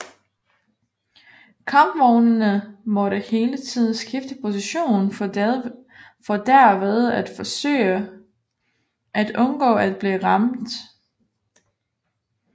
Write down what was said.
Kampvognene måtte hele tiden skifte position for derved at forsøge at undgå at blive ramt